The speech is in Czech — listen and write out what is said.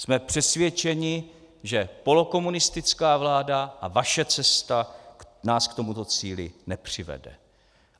Jsme přesvědčeni, že polokomunistická vláda a vaše cesta nás k tomuto cíli nepřivede.